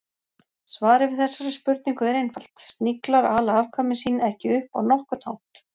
Svarið við þessari spurningu er einfalt: Sniglar ala afkvæmi sín ekki upp á nokkurn hátt.